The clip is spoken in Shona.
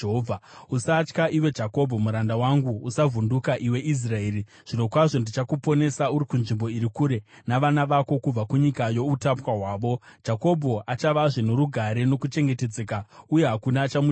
“Usatya, iwe Jakobho muranda wangu; usavhunduka, iwe Israeri. Zvirokwazvo ndichakuponesa uri kunzvimbo iri kure, nezvizvarwa zvako kubva kunyika youtapwa hwavo, Jakobho achavazve norugare nokuchengetedzeka, uye hakuna achamutyisa.